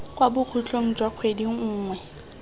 kwa bokhutlong jwa kgwedi nngwe